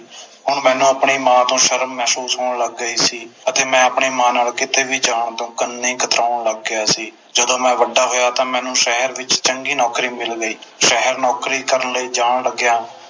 ਹੁਣ ਮੈਨੂੰ ਆਪਣੀ ਮਾਂ ਤੋਂ ਸ਼ਰਮ ਮਹਿਸੂਸ ਹੋਣ ਲੱਗ ਗਈ ਸੀ ਅਤੇ ਮੈਂ ਆਪਣੀ ਮਾਂ ਨਾਲੋਂ ਕਿੱਤੇ ਵੀ ਜਾਣ ਤੇ ਉਨ੍ਹੀ ਹੀ ਕਤਰਾਉਣ ਲੱਗ ਗਿਆ ਸੀ ਜਦੋ ਮੈਂ ਵੱਡਾ ਹੋਇਆ ਤਾ ਮੈਨੂੰ ਸ਼ਹਿਰ ਵਿਚ ਚੰਗੀ ਨੌਕਰੀ ਮਿਲ ਗਈ ਸ਼ਹਿਰ ਨੌਕਰੀ ਕਰਨ ਲਈ ਜਾਣ ਲੱਗਿਆ